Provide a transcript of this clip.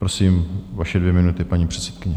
Prosím, vaše dvě minuty, paní předsedkyně.